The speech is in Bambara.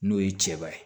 N'o ye cɛba ye